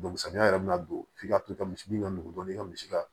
samiya yɛrɛ bɛna don f'i ka to ka misi ka nugu dɔɔnin kɛ misi ka